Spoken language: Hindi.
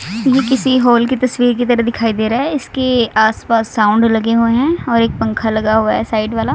ये किसी हॉल की तस्वीर की तरह दिखाई दे रहा है इसके आसपास साउंड लगे हुए हैं और एक पंखा लगा हुआ है साइड वाला।